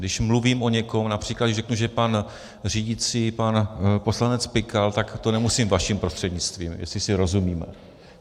Když mluvím o někom, například když řeknu, že pan řídící, pan poslanec Pikal, tak to nemusím vaším prostřednictvím, jestli si rozumíme.